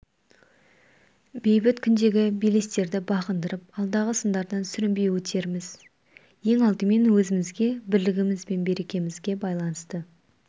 бейбіт күндегі белестерді бағындырып алдағы сындардан сүрінбей өтеріміз ең алдымен өзімізге бірлігіміз бен берекемізге байланысты